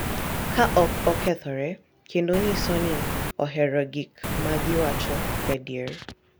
Ka ok okethore kendo nyiso ni ohero gik ma giwacho gadier.